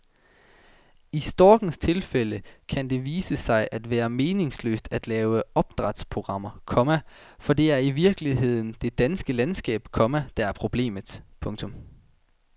I storkens tilfælde kan det vise sig at være meningsløst at lave opdrætsprogrammer, komma for det er i virkeligheden det danske landskab, komma der er problemet. punktum